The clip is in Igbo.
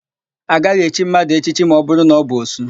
A gaghị echi mmadụ echichi ma ọbụrụ na ọ bụ òsú.